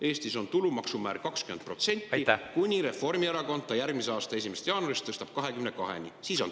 Eestis on tulumaksumäär 20%, kuni Reformierakond järgmise aasta 1. jaanuarist tõstab selle 22%-ni.